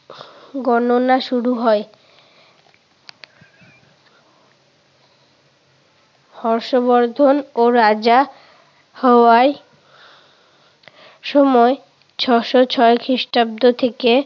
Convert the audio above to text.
গণনা শুরু হয়। হর্ষবর্ধনও রাজা হওয়ায় সময় ছয়শো ছয় খ্রিষ্টাব্দ থেকে